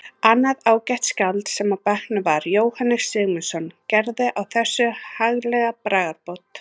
Annað ágætt skáld sem í bekknum var, Jóhannes Sigmundsson, gerði á þessu haglega bragarbót